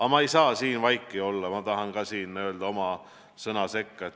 Aga ma ei saa siin vaiki olla, ma tahan öelda oma sõna sekka.